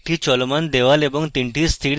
একটি চলমান দেওয়াল এবং তিনটি স্থির দেওয়াল